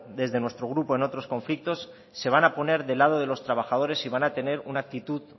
desde nuestro grupo en otros conflictos se van a poner de lado de los trabajadores y van a tener una actitud